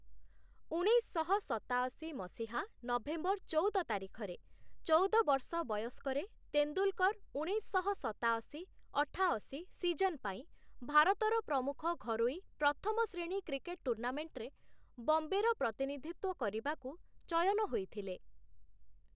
ଉଣେଇଶଶହ ସତାଅଶୀ ମସିହା ନଭେମ୍ବର ଚଉଦ ତାରିଖରେ, ଚଉଦ ବର୍ଷ ବୟସ୍କ, ତେନ୍ଦୁଲ୍‌କର୍‌ ଉଣେଇଶଶହ ସତାଅଶୀ ଅଠାଅଶୀ ସିଜନ୍‌ ପାଇଁ ଭାରତର ପ୍ରମୁଖ ଘରୋଇ ପ୍ରଥମ ଶ୍ରେଣୀ କ୍ରିକେଟ୍‌ ଟୁର୍ଣ୍ଣାମେଣ୍ଟ୍‌ରେ ବମ୍ବେର ପ୍ରତିନିଧିତ୍ଵ କରିବାକୁ ଚୟନ ହୋଇଥିଲେ ।